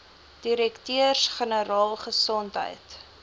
direkteurs generaal gesondheid